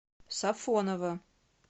сафоново